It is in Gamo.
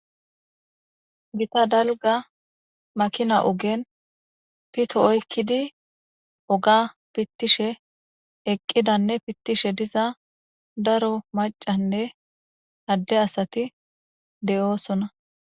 Gita dalga makina ogen pito oykkidi oga pitiishe eqqidanne pitiishe diza daro maccanne adde asati de'osonna.